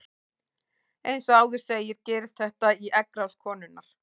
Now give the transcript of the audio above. Eins og áður segir gerist þetta í eggrás konunnar.